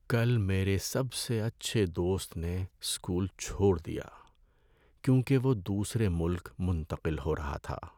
کل میرے سب سے اچھے دوست نے اسکول چھوڑ دیا کیونکہ وہ دوسرے ملک منتقل ہو رہا تھا۔